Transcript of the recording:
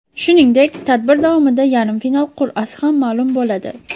Shuningdek, tadbir davomida yarim final qur’asi ham ma’lum bo‘ladi.